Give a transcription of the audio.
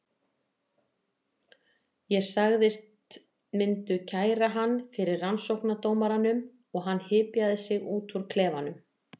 Ég sagðist myndu kæra hann fyrir rannsóknardómaranum og hann hypjaði sig út úr klefanum.